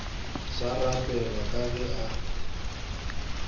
sa rapelwa ka ge a